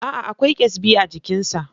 Aa, Akwai ƙyasbi a jikin sa